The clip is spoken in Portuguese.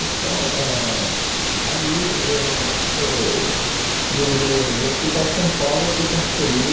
Então, ãh aí ãh eu do do do Hospital São Paulo eu fui transferido